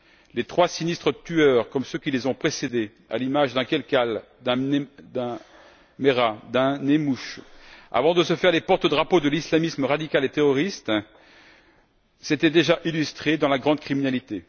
Les trois sinistres tueurs, comme ceux qui les ont précédés, à l'image d'un Kelkal, d'un Merah ou d'un Nemmouche, avant de se faire les porte drapeaux de l'islamisme radical et terroriste, s'étaient déjà illustrés dans la grande criminalité.